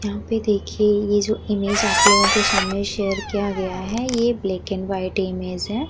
यहां पे देखिए ये जो इमेज आप लोग के सामने शेयर किया गया है। ये ब्लैक वाइट इमेज है।